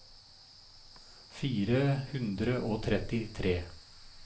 fire hundre og trettitre